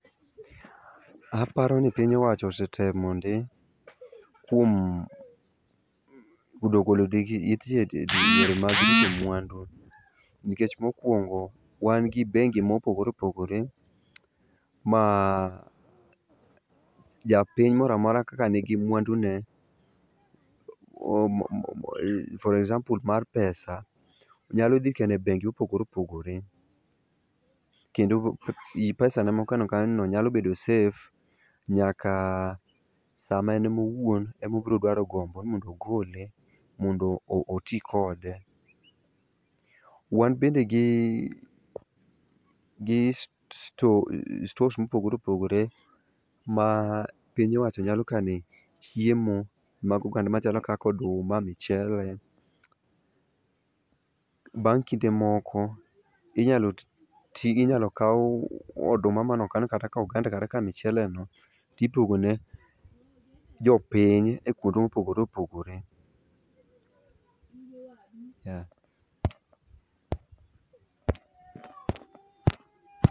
Aparo ni piny owacho osetemo ndi kuom golo odok e it ji kuom yore mag rito mwandu ,nikech mokuongo wan gi bengi mopogore opogore ma japiny moro amora kaka nigi mwandu ne for example mar pesa nyalo dhi kano e bengi mopogore opogore kendo pesane mokano kanyono nyalo bedo safe nyaka e saa ma en ema owuon obiro dwaro gombo mondo ogole mondo oti kode.,Wan bende gi stores mopogore opogore ma piny owacho nyale kane chiemo machalo kaka oduma ,mchele bang' kinde moko inyalo kaw oduma kata oganda mane okan kata oganda kata ka mchele no to iduogo ne jopiny e kuonde mopogore opogore.